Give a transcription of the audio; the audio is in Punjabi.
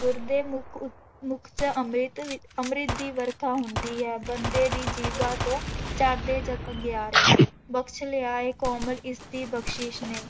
ਗੁਰ ਦੇ ਮੁੱਖ ਉ ਮੁੱਖ ਚ ਅੰਮ੍ਰਿਤ ਵੀ ਅੰਮ੍ਰਿਤ ਦੀ ਵਰਖਾ ਹੁੰਦੀ ਹੈ, ਬੰਦੇ ਦੀ ਜੀਭਾ ਤੋਂ ਝੜਦੇ ਜਦ ਅਗਿਆਰੇ, ਬਖ਼ਸ ਲਿਆ ਹੈ ਕੋਮਲ ਇਸਦੀ ਬਖ਼ਸੀਸ਼ ਨੇ